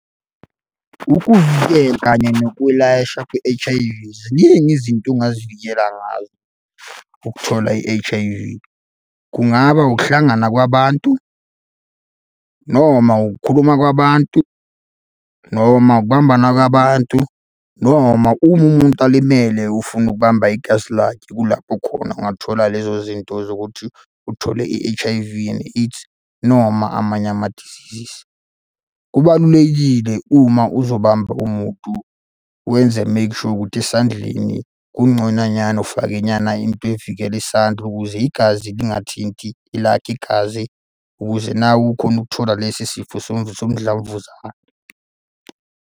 Ukuvikela kanye nokwelashwa kwe-H_I_V. Ziningi izinto ongazivikela ngazo ukuthola i-H_I_V. Kungaba ukuhlangana kwabantu noma ukukhuluma kwabantu, noma ukubambana kwabantu, noma uma umuntu alimele ufuna ukubamba igazi lakhe kulapho khona ungathola lezo zinto zokuthi uthole i-H_I_V and AIDS, noma amanye amadizizisi. Kubalulekile uma uzobamba umuntu wenze make sure ukuthi esandleni kungconanyana, ufakenyana into evikela isandla ukuze igazi lingathinti elakhe igazi, ukuze nawe ukhone ukuthola lesi sifo somdlavuza.